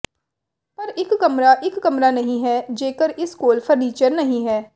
ਪਰ ਇੱਕ ਕਮਰਾ ਇੱਕ ਕਮਰਾ ਨਹੀਂ ਹੈ ਜੇਕਰ ਇਸ ਕੋਲ ਫਰਨੀਚਰ ਨਹੀਂ ਹੈ